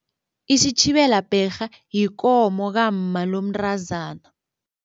Isitjhibela bherha yikomo kamma lomntazana.